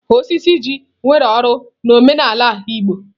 Osisi oji nwere uru n'omenala ala igbo.